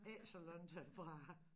Ikke så langt herfra